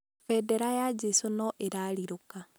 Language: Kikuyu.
bendera ya jecũ noĩrarirũka